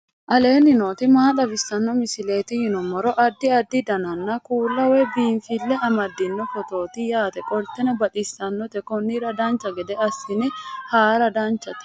aleenni nooti maa xawisanno misileeti yinummoro addi addi dananna kuula woy biinsille amaddino footooti yaate qoltenno baxissannote konnira dancha gede assine haara danchate